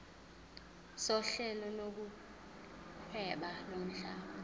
sohlelo lokuhweba lomhlaba